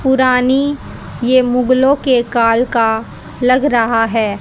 पुरानी ये मुगलों के काल का लग रहा है।